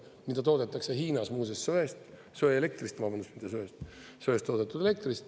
Muuseas, neid toodetakse Hiinas söest, söeelektrist, vabandust, mitte söest, vaid söest toodetud elektrist.